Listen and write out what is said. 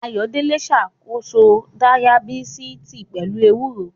Ayọ̀délé ṣàkóso Dayabítìsì pẹ̀lú ewúro